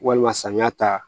Walima samiya ta